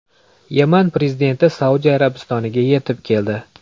Yaman prezidenti Saudiya Arabistoniga yetib keldi.